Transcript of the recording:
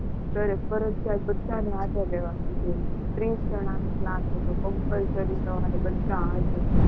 સરે ફરજિયાત બધાને હાજર રહેવાનું કીધેલું. ત્રીસ જણા નો ક્લાસ હતો. compulsory સવારે બધા હાજર